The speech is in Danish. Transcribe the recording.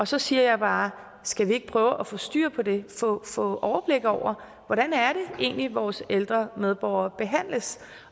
så siger jeg bare skal vi ikke prøve at få styr på det få overblik over hvordan det egentlig er vores ældre medborgere behandles